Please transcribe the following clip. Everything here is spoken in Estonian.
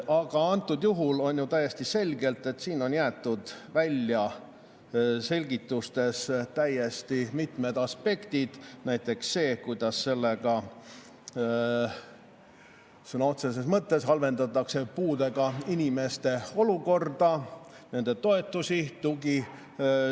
Aga antud juhul on täiesti selge, et siin on selgitustest jäetud välja mitmed aspektid, näiteks see, kuidas sõna otseses mõttes halvendatakse puuetega inimeste olukorda, nende toetamist, tugisüsteeme.